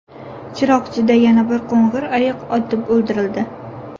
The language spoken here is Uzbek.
Chiroqchida yana bir qo‘ng‘ir ayiq otib o‘ldirildi.